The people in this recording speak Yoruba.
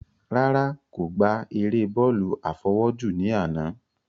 Rárá, kò gbá eré bọ́ọ̀lù àfọwọ́jù ní àná